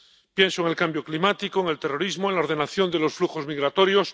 Pienso en el cambio climático, en el terrorismo, en la ordenación de los flujos migratorios...